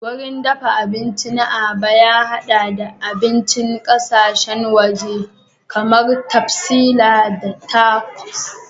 Wurin dafa abinci na Aba ya haɗa da abinci na ƙasashen waje kamar pastilla da tacos.